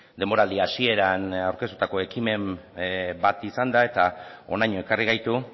denboraldi hasieran aurkeztutako ekimen bat izan da eta honaino ekarri gaitu